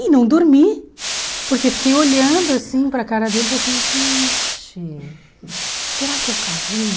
E não dormi, porque fiquei olhando assim para cara dele e falei assim, gente, será que eu casei?